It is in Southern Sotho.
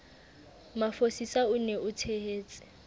mafosisa o be o tshehetse